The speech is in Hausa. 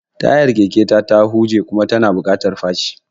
Tayar keke ta huje kuma yana buƙatar faci.